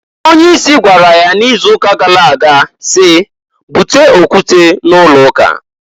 Onye isi gwara ya n'izuuka gara aga si, "Bute okwute n'ụlọụka!"